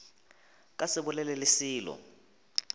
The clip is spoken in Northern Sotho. ka se bolele le selo